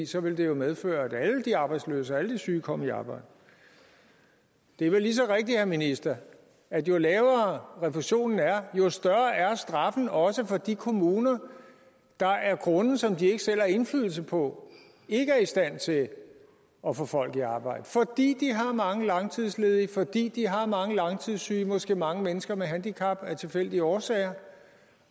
så ville det jo medføre at alle de arbejdsløse og alle de syge kom i arbejde det er vel lige så rigtigt til ministeren at jo lavere refusionen er jo større er straffen også for de kommuner der af grunde som de ikke selv har indflydelse på ikke er i stand til at at få folk i arbejde fordi de har mange langtidsledige fordi de har mange langtidssyge måske mange mennesker med handicap af tilfældige årsager